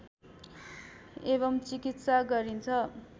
एवं चिकित्सा गरिन्छ